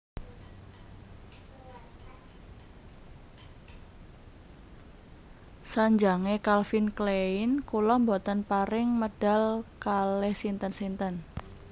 Sanjange Calvin Klein kula mboten pareng medal kalih sinten sinten